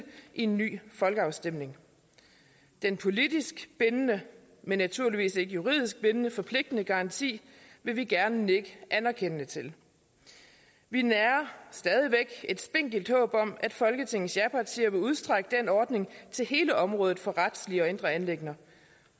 en ny folkeafstemning denne politisk bindende men naturligvis ikke juridisk bindende og forpligtende garanti vil vi gerne nikke anerkendende til vi nærer stadig væk et spinkelt håb om at folketingets japartier vil udstrække den ordning til hele området for retslige og indre anliggender